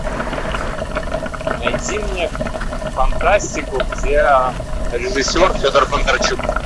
найди мне фантастику где режиссер федор бондарчук